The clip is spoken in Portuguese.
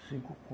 Cinco